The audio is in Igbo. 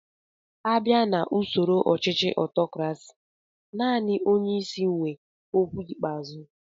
A bia na ụsoro ọchichi ọtọkrasi, naani onyeisi wé ókwú ikpeazụ